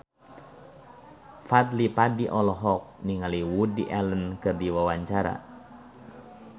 Fadly Padi olohok ningali Woody Allen keur diwawancara